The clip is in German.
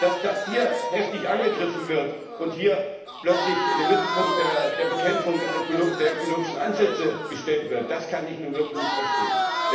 Dass das hier heftig angegriffen wird und hier plötzlich in den Mittelpunkt der Bekämpfung der ökologischen Ansätze gestellt wird, das kann ich nun wirklich nicht verstehen!